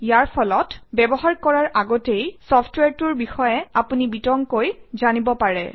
ইয়াৰ ফলত ব্যৱহাৰ কৰাৰ আগতেই চফট্ৱেৰটোৰ বিষয়ে আপুনি বিতংকৈ জানিব পাৰে